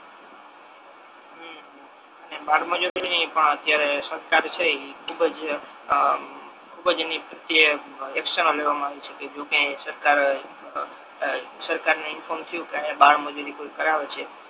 હમ હમ અને બાળમજૂરી ની પણ અત્યારે સરકાર છે આ બ એ ખૂબ જ એની પ્રત્યે એક્શનો લેવામા આવે છે જો કાઈ સરકાર આ બ ને ઇન્ફોર્મ થયુ કે આહિયા બાળમજૂરી કરાવે છે.